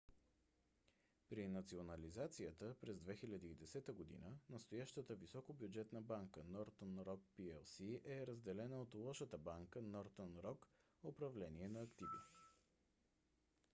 при национализацията през 2010 г. настоящата високобюджетна банка northern rock plc е разделена от лошата банка northern rock управление на активи